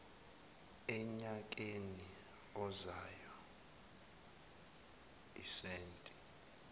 enyakeni ozayo isenti